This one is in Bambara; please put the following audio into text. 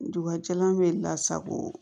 Duguba jalan bɛ lasago